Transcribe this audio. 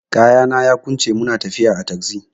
Kayana yaƙunce muna tafiya a cikin tagzi.